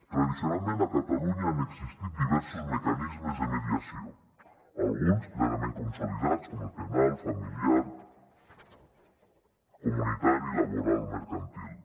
tradicionalment a catalunya han existit diversos mecanismes de mediació alguns plenament consolidats com el penal familiar comunitari laboral o mercantil